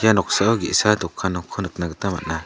ia noksao ge·sa dokan nokko nikna gita man·a.